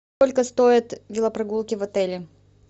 сколько стоят велопрогулки в отеле